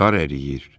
Qar əriyir.